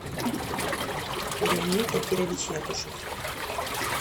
леонид акирович якушев